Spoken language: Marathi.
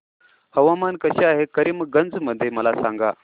हवामान कसे आहे आज करीमगंज मध्ये मला सांगा